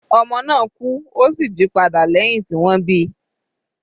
Ọmọ náà kú, ó sì jí padà lẹ́hìn tí wọ́n bíi.